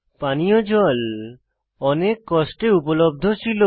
পানীয় জল অনেক কষ্টে উপলব্ধ ছিল